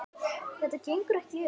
Þetta gengur ekki upp.